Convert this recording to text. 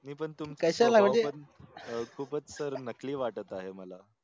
मी पन तुमच्या खूपच SIR नकली वाटत आहे मला